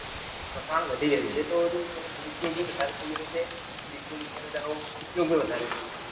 પ્રસારણ વધી ગયું છે. તો વધુ તેનો દુર ઉપયોગ પણ દિવસે દિવસે અને તેનો ઉપયોગ પણ વધરે થઇ રહ્યો છે.